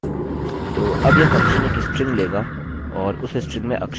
तो अब यह फंक्शन एक स्ट्रिंग लेगा और उस स्ट्रिंग में अक्षरों की संख्या की गिनती करेगा